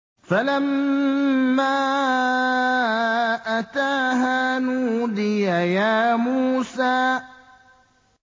فَلَمَّا أَتَاهَا نُودِيَ يَا مُوسَىٰ